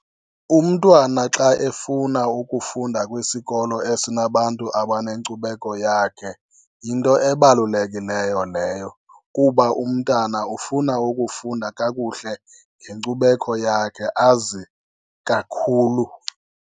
Umntwana xa efuna ukufunda kwisikolo esinabantu abanenkcubeko yakhe yinto ebalulekileyo leyo, kuba umntana ufuna ukufunda kakuhle ngenkcubeko yakhe azi kakhulu.